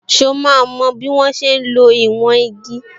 So máa mo bí wọ́n ṣe ń lo ìwọ̀n igi?